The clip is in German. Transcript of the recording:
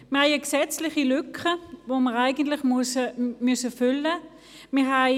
Wir haben eine gesetzliche Lücke, welche wir füllen müssen.